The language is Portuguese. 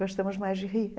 Gostamos mais de rir.